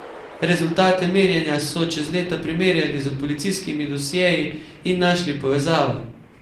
Rezultate merjenja so čez leta primerjali z policijskimi dosjeji in našli povezavo.